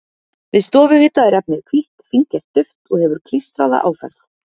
Við stofuhita er efnið hvítt, fíngert duft og hefur klístraða áferð.